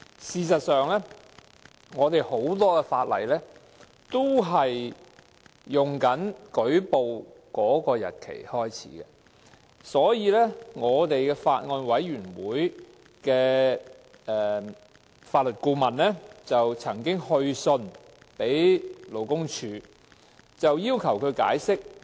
事實上，很多法例也訂明是按舉報日期開始計算的，因此法案委員會的法律顧問也曾就此去信勞工處，要求解釋。